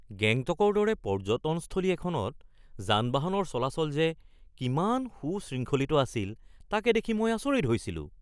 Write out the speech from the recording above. গেংটকৰ দৰে পৰ্যটনস্থলী এখনত যান-বাহনৰ চলাচল যে কিমান সুশৃংখলিত আছিল তাকে দেখি মই আচৰিত হৈছিলোঁ